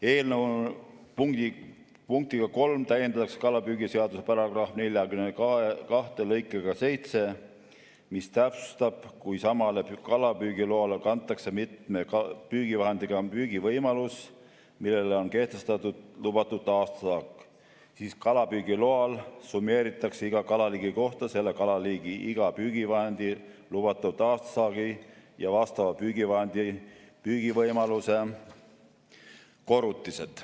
Eelnõu punktiga 3 täiendatakse kalapüügiseadust § 42 lõikega 7, mis täpsustab, et kui samale kalapüügiloale kantakse mitme püügivahendiga püügi võimalus, millele on kehtestatud lubatud aastasaak, siis kalapüügiloal summeeritakse iga kalaliigi kohta selle kalaliigi iga püügivahendi lubatud aastasaagi ja vastava püügivahendi püügivõimaluse korrutised.